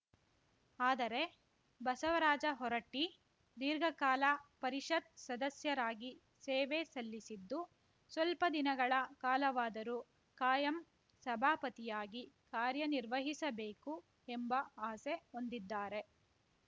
ಆದರೆ ಬಸವರಾಜ ಹೊರಟ್ಟಿದೀರ್ಘಕಾಲ ಪರಿಷತ್‌ ಸದಸ್ಯರಾಗಿ ಸೇವೆ ಸಲ್ಲಿಸಿದ್ದು ಸ್ವಲ್ಪ ದಿನಗಳ ಕಾಲವಾದರೂ ಕಾಯಂ ಸಭಾಪತಿಯಾಗಿ ಕಾರ್ಯನಿರ್ವಹಿಸಬೇಕು ಎಂಬ ಆಸೆ ಹೊಂದಿದ್ದಾರೆ